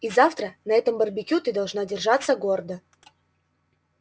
и завтра на этом барбекю ты должна держаться гордо